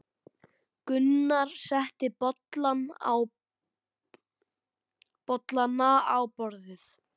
Gunnar setti bollana á borðið.